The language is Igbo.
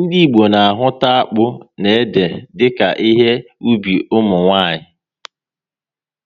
ndị Igbo na ahụta akpụ na ede dika ihe ubi ụmụnwanyị